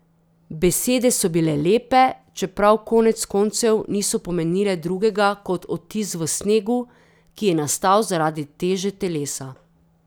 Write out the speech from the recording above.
Besede so bile lepe, čeprav konec koncev niso pomenile drugega kot odtis v snegu, ki je nastal zaradi teže telesa.